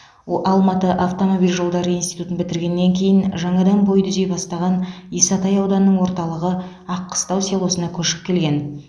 алматы автомобиль жолдары институтын бітіргеннен кейін жаңадан бой түзей бастаған исатай ауданының орталығы аққыстау селосына көшіп келген